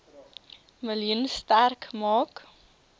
miljoen sterk maak